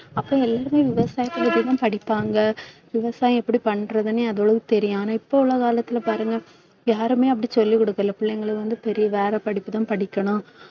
அப்ப எல்லாருமே விவசாயத்தை பத்திதான் படிப்பாங்க விவசாயம் எப்படி பண்றதுன்னே தெரியும். ஆனா இப்ப உள்ள காலத்தில பாருங்க யாருமே அப்படி சொல்லிக் கொடுக்கல பிள்ளைங்களுக்கு வந்து, பெரிய வேற படிப்புதான் படிக்கணும்